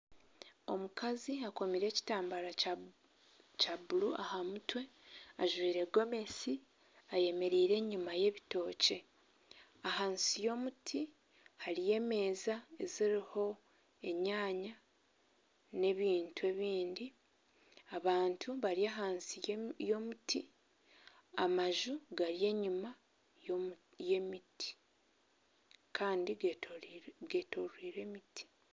Omukazi akomire ekitambara kya kya bururu aha mutwe ajwaire gomesi, ayemereire enyima y'ebitookye. Ahansi y'omuti hariyo emeeza eziriho enyanya n'ebintu ebindi. Abantu bari ahansi y'omuti, amaju gari enyima y'emiti kandi getoroire getoroire emiti.